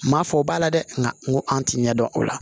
Maa fɔ o b'a la dɛ nka n ko an tɛ ɲɛ dɔn o la